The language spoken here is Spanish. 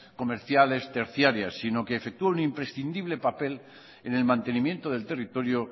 comerciales terciarias sino que efectúa un imprescindible papel en el mantenimiento del territorio